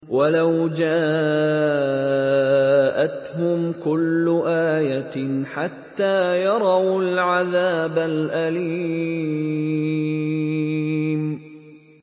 وَلَوْ جَاءَتْهُمْ كُلُّ آيَةٍ حَتَّىٰ يَرَوُا الْعَذَابَ الْأَلِيمَ